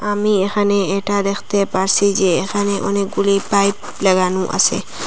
আমি এখানে এটা দেখতে পারছি যে এখানে অনেকগুলি পাইপ লাগানো আছে।